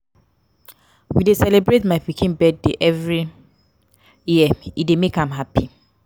we dey celebrate my pikin birthday every year e dey make am happy.